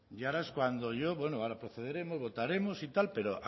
y ahora es cuando yo bueno ahora procederemos votaremos y tal pero